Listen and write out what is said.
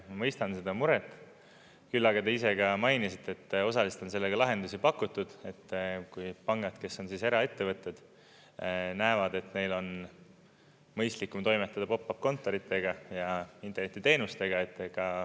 Ma mõistan seda muret, küll aga te ise ka mainisite, et osaliselt on sellele lahendusi pakutud, et kui pangad, kes on eraettevõtted, näevad, et neil on mõistlikum toimetada pop-up kontoritega ja internetiteenustega.